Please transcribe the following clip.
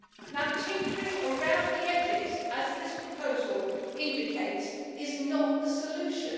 Now tinkering around the edges as this proposal indicates is not the solution.